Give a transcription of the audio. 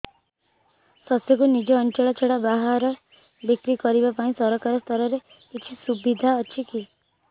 ଶସ୍ୟକୁ ନିଜ ଅଞ୍ଚଳ ଛଡା ବାହାରେ ବିକ୍ରି କରିବା ପାଇଁ ସରକାରୀ ସ୍ତରରେ କିଛି ସୁବିଧା ଅଛି କି